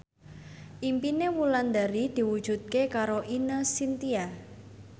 impine Wulandari diwujudke karo Ine Shintya